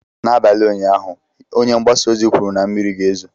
N'abalị ụnyaahụ, Onye mgbasa ozi kwuru na mmiri ga-ezo.